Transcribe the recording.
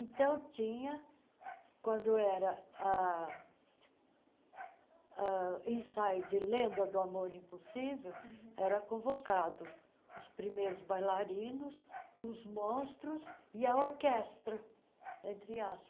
Então tinha, quando era ah uh ensaio de Lenda do Amor Impossível uhum, eram convocados os primeiros bailarinos, os monstros e a orquestra, entre